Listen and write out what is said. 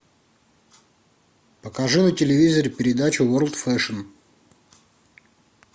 покажи на телевизоре передачу ворлд фешн